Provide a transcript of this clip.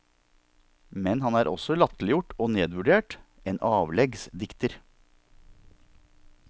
Men han er også latterliggjort og nedvurdert, en avleggs dikter.